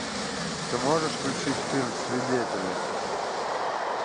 ты можешь включить фильм свидетели